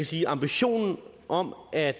sige at ambitionen om at